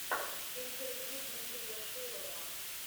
интервью дмитрия шилова